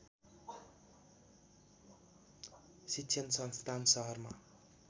शिक्षण संस्थान सहरमा